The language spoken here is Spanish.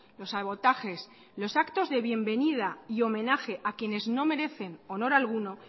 los sabotajes los actos de bienvenida y homenaje a quienes no merecen honor alguno